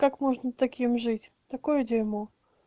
как можно таким жить такое дерьмо